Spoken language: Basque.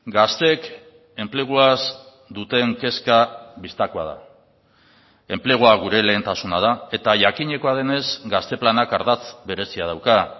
gazteek enpleguaz duten kezka bistakoa da enplegua gure lehentasuna da eta jakinekoa denez gazte planak ardatz berezia dauka